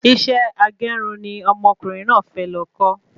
Isẹ́ agerun ni ọmọkùnrin náà fẹ lọ kọ́